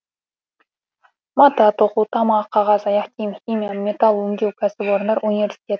мата тоқу тамақ қағаз аяқ киім химия металл өңдеу кәсіпорындар университет